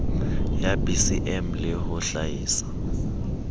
ya bcm le ho hlaisa